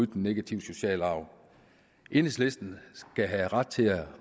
den negative sociale arv enhedslisten skal have ret til at